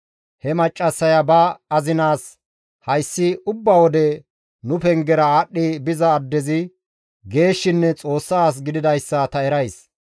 He maccassaya ba azinaas, «Hayssi ubba wode nu pengera aadhdhi biza addezi geeshshinne Xoossa as gididayssa ta erays.